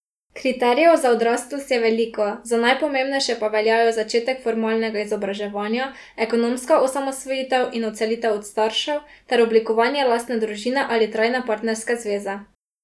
Kriterijev za odraslost je veliko, za najpomembnejše pa veljajo zaključek formalnega izobraževanja, ekonomska osamosvojitev in odselitev od staršev ter oblikovanje lastne družine ali trajne partnerske zveze.